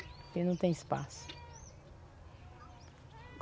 Porque não tem espaço.